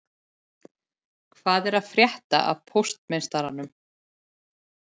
Hvað er að frétta af póstmeistaranum